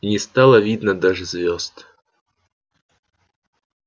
и не стало видно даже звёзд